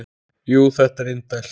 Jú, þetta er indælt